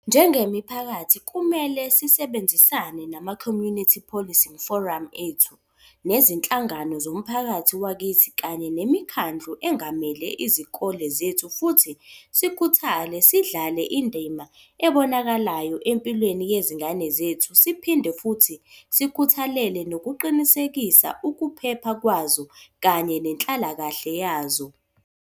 Njengemiphakathi kumele sisebenzisane nama-Community Policing Forum ethu, nezinhlangano zomphakathi wakithi kanye nemikhandlu engamele izikole zethu futhi sikhuthale sidlale indima ebonakalayo empilweni yezingane zethu siphinde futhi sikhuthalele nokuqinisekisa ukuphepha kwazo kanye nenhlalakahle yazo.